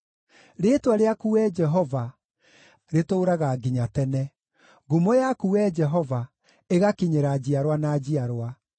Rĩĩtwa rĩaku, Wee Jehova, rĩtũũraga nginya tene, ngumo yaku, Wee Jehova, ĩgakinyĩra njiarwa na njiarwa.